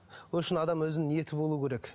ол үшін адамның өзінің ниеті болуы керек